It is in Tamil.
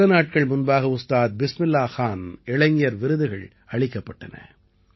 சில நாட்கள் முன்பாக உஸ்தாத் பிஸ்மில்லாஹ் கான் இளைஞர் விருதுகள் அளிக்கப்பட்டன